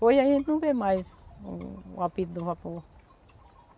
Hoje a gente não vê mais o o apito do vapor.